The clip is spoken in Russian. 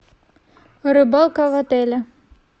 рыбалка в отеле